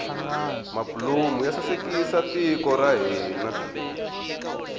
mabulomu ya sasekisa tiko ra hina